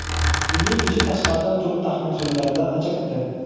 Uyning ichi tashqaridan turib taxmin qilinganidan ancha katta.